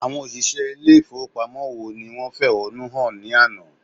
Àwọn òṣìṣẹ́ ilé ìfowópamọ́ wo ni wọ́n fẹ̀hónú hàn ní àná?